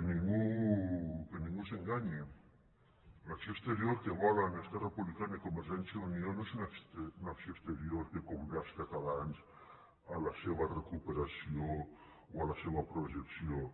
que ningú s’enganyi l’acció exterior que volen esquerra republicana i convergència i unió no és una acció exterior que convé als catalans a la seva recuperació o a la seva projecció